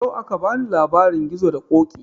Yau aka bani labarin gizo da ƙoƙi